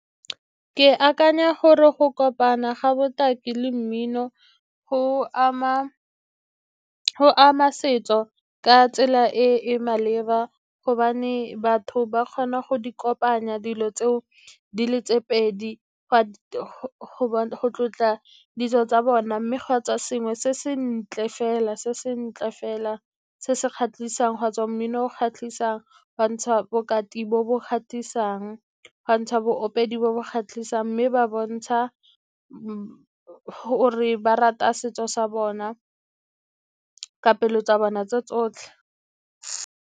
Ke akanya gore go kopana ga botaki le mmino go ama setso ka tsela e e maleba, gobane batho ba kgona go di kopanya dilo tse o di le tse pedi go tlotla ditso tsa bona. Mme ga a tswa sengwe se sentle fela, se se kgatlhisang, ga tswa mmino o kgatlhisang, ga ntsha bokati bo bo kgatlhisang, ga ntsha bo opedi bo bo kgatlhisang, mme ba bontsha gore ba rata setso sa bona ka pelo tsa bona tse tsotlhe.